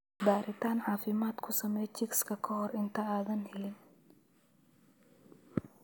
Baaritaan caafimaad ku samee chicks ka hor inta aadan helin.